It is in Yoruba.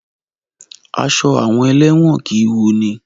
Aṣọ àwọn elẹ́wọ̀n kìí wunni.